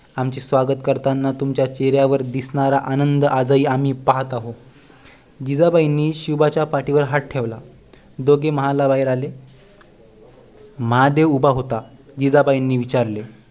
आमचे स्वागत करतानाचा तुमच्या चेहऱ्यावर दिसणारा आनंद आज ही आम्ही पहात आहोत जिजाबाईंनी शिवबाच्या पाठीवर हात ठेवला दोघेही महाला बाहेर आले महादेव उभा होता जिजाबाईंनी विचारले